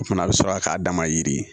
O fana bɛ sɔrɔ k'a dama yiri ye